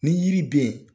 Ni yiriden